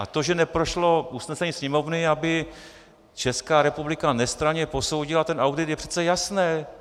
A to, že neprošlo usnesení Sněmovny, aby Česká republika nestranně posoudila ten audit, je přece jasné.